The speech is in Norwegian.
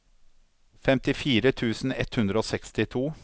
femtifire tusen ett hundre og sekstito